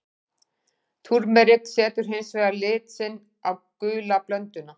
Túrmerik setur hins vegar lit sinn á gulu blönduna.